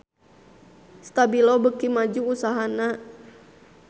Stabilo beuki maju usahana